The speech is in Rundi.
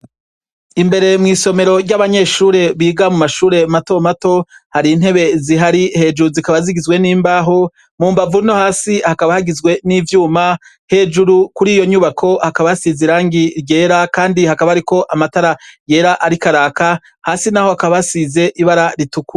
Imbere mw'isomero ry'abanyeshure biga mu mashure mato mato, hari intebe zihari hejuru zikaba zigizwewe n'imbaho, mu mbavu no hasi hakaba hagizwe n'ivyuma, hejuru kuri iyo nyubako hakaba hasize irangi ryera kandi hakaba hariko amatara yera ariko araka, hasi naho hakaba hasize ibara ritukura.